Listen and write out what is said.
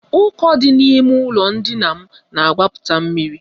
Uko dị n'ime ụlọ ndina m na-agbapụta mmiri.